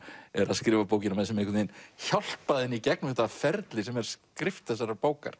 er að skrifa bókina með sem einhvern veginn hjálpaði henni í gegnum þetta ferli sem er skrift þessarar bókar